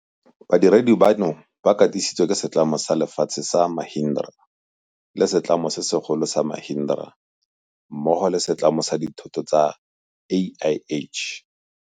Badiredi bano ba katisi tswe ke setlamo sa lefatshe sa Mahindra le setlamo se segolo sa Mahindra mmogo le setlamo sa dithoto sa AIH.